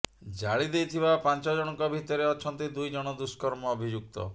ଜାଳି ଦେଇଥିବା ପାଞ୍ଚ ଜଣଙ୍କ ଭିତରେ ଅଛନ୍ତି ଦୁଇ ଜଣ ଦୁଷ୍କର୍ମ ଅଭିଯୁକ୍ତ